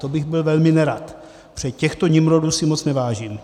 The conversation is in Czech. To bych byl velmi nerad, protože těchto nimrodů si moc nevážím.